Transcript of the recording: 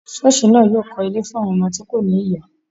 Ṣọọsi naa yóò kọ́ ilé fún àwọn ọmọ tí kò ní ìyá.